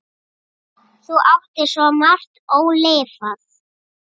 Þú áttir svo margt ólifað.